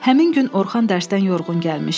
Həmin gün Orxan dərsdən yorğun gəlmişdi.